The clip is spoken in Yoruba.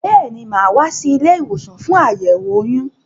Béèni, máa wá sí ilé-ìwòsàn fún àyẹ̀wò oyún